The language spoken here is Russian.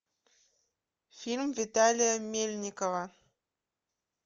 фильм виталия мельникова